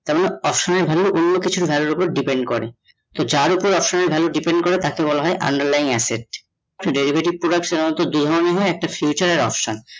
option এর value অন্য কিছুর value এর ওপর depend করে তো যার ওপর option এর value depend করে, তাকে বলা হয়ে underline asset derivative product দু ধরণের হয়ে, একটা future আর option